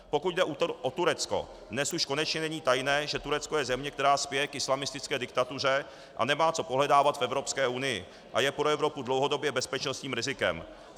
Pokud jde o Turecko, dnes už konečně není tajné, že Turecko je země, která spěje k islamistické diktatuře a nemá co pohledávat v Evropské unii a je pro Evropu dlouhodobě bezpečnostním rizikem.